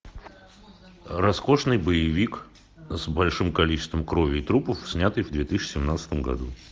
роскошный боевик с большим количеством крови и трупов снятый в две тысячи семнадцатом году